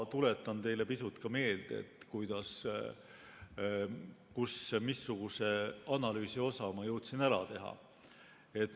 Tuletan teile pisut meelde, missuguse analüüsi osa ma jõudsin ära teha.